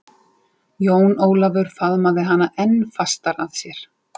Jón Ólafur faðmaði hana enn fastar að sér.